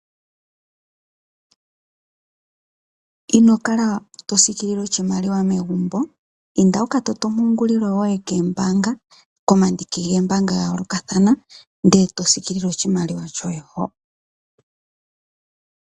Ino kala tosiikilile oshimaliwa megumbo. Inda wu ka patulule ompungulilo yoye koombaanga, komandiki goombaanga dha yoolokathana ndele to siikilile oshimaliwa shoye hoka.